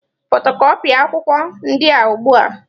Fotokọpia akwụkwọ ndị a ugbu a!